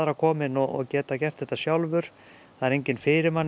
kominn og geta gert þetta sjálfur það er enginn fyrir manni